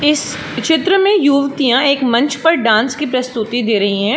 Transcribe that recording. इस चित्र में युवतियाँ एक मंच पर डांस की प्रस्तुति दे रई हैं।